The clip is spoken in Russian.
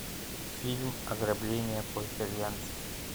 фильм ограбление по итальянски